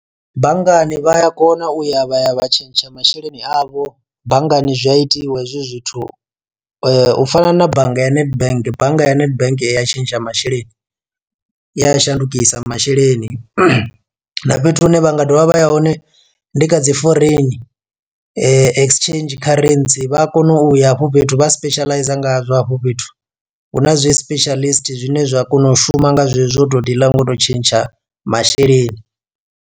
Banngani vhaya kona uya vha ya vha tshentsha masheleni avho banngani zwi a itiwa hezwi zwithu u fana na bannga ya nedbank bannga ya nedbank iya tshentsha masheleni i ya shandukisa masheleni, na fhethu hune vha nga dovha vha ya hone ndi kha dzi foreign exchange kharentsi vha a kona uya afho fhethu vha specializer ngazwo hafho fhethu, hu na zwi specialist zwine zwa kona u shuma nga zwezwo o to diḽa ngo to tshentsha masheleni.